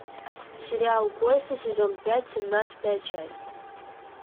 сериал кости сезон пять семнадцатая часть